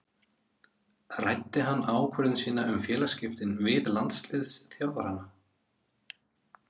Ræddi hann ákvörðun sína um félagaskiptin við landsliðsþjálfarana?